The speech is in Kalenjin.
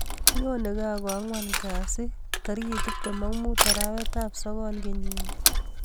Nyonei kaa ko angwan kasi tarik tiptem ak mut arawet ap sogol kenyit ni